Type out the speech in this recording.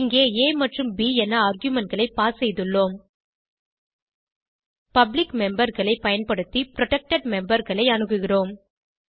இங்கே ஆ மற்றும் ப் என argumentகளை பாஸ் செய்துள்ளோம் பப்ளிக் memberகளை பயன்படுத்தி புரொடெக்டட் memberகளை அணுகுகிறோம்